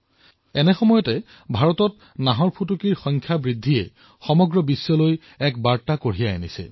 এনে সময়ত ভাৰতে বাঘৰ আবাদী বৃদ্ধি কৰি বিশ্ববাসীক পথ প্ৰদৰ্শিত কৰিছে